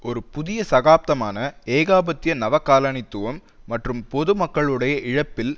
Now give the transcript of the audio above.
ஒரு புதிய சகாப்தமான ஏகாதிபத்திய நவகாலனித்துவம் மற்றும் பொது மக்களுடைய இழப்பில்